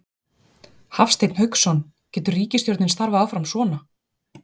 Hafsteinn Hauksson: Getur ríkisstjórnin starfað áfram svona?